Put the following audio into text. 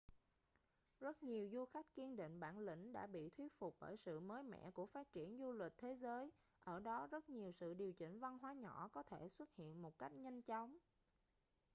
rất nhiều du khách kiên định bản lĩnh đã bị thuyết phục bởi sự mới mẻ của phát triển du lịch thế giới ở đó rất nhiều sự điều chỉnh văn hóa nhỏ có thể xuất hiện một cách nhanh chóng